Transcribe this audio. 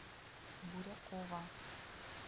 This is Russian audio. бурякова